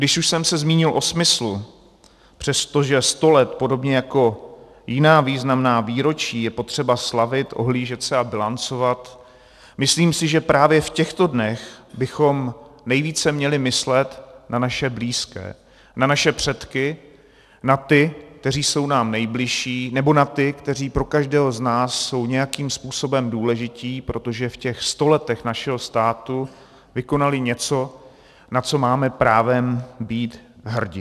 Když už jsem se zmínil o smyslu, přestože sto let podobně jako jiná významná výročí je potřeba slavit, ohlížet se a bilancovat, myslím si, že právě v těchto dnech bychom nejvíce měli myslet na naše blízké, na naše předky, na ty, kteří jsou nám nejbližší nebo na ty, kteří pro každého z nás jsou nějakým způsobem důležití, protože v těch sto letech našeho státu vykonali něco, na co máme právem být hrdi.